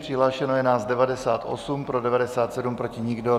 Přihlášeno je nás 98, pro 97, proti nikdo.